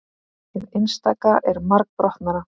hið einstaka er margbrotnara